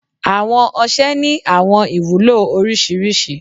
awọn ọṣẹ ni awọn ìwulo oriṣiriṣi